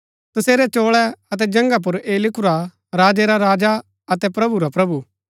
तसेरै चोळै अतै जंघा पुर ऐह लिखुरा हा राजै रा राजा अतै प्रभु रा प्रभु